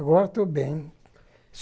Agora estou bem.